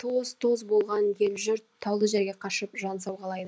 тоз тоз болған ел жұрт таулы жерге қашып жан сауғалайды